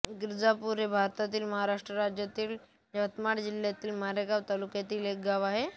गिरजापूर हे भारतातील महाराष्ट्र राज्यातील यवतमाळ जिल्ह्यातील मारेगांव तालुक्यातील एक गाव आहे